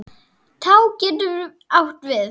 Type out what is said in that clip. Tá getur átt við